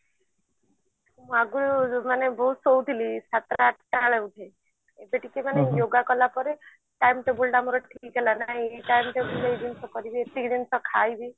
ଆଗୁରୁ ମୁଁ ମାନେ ବହୁତ ଶୋଉଥିଲି ସାତଟା ଆଠଟା ବେଳେ ଉଠେ ଏବେ ଟିକେ ମାନେ yoga କଲା ପରେ timetable ଟା ମୋର ଠିକ ହେଲା ନହେଲେ କରିବି ଏତିକି ଜିନିଷ ଖାଇବି